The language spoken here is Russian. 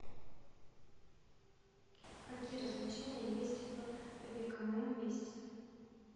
какие развлечения есть в векомом месте